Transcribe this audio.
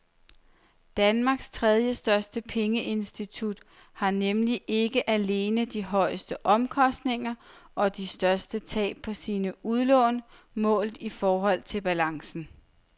Danmarks tredjestørste pengeinstitut har nemlig ikke alene de højeste omkostninger og de største tab på sine udlån målt i forhold til balancen.